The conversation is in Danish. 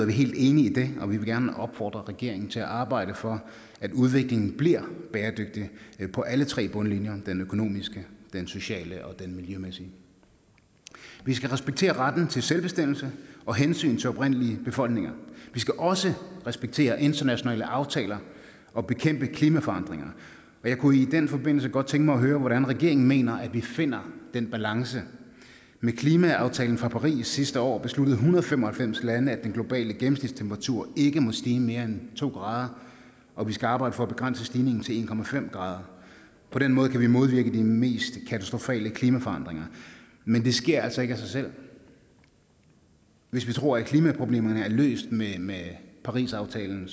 vi helt enige i det og vi vil gerne opfordre regeringen til at arbejde for at udviklingen bliver bæredygtig på alle tre bundlinjer den økonomiske den sociale og den miljømæssige vi skal respektere retten til selvbestemmelse og hensynet til oprindelige befolkninger vi skal også respektere internationale aftaler og bekæmpe klimaforandringer jeg kunne i den forbindelse godt tænke mig at høre hvordan regeringen mener vi finder den balance med klimaaftalen fra paris sidste år besluttede en hundrede og fem og halvfems lande at den globale gennemsnitstemperatur ikke må stige mere end to grader og vi skal arbejde for at begrænse stigningen til en grader på den måde kan vi modvirke de mest katastrofale klimaforandringer men det sker altså ikke af sig selv hvis vi tror at klimaproblemerne er løst med med parisaftalen